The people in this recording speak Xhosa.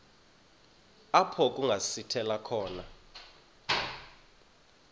apho kungasithela khona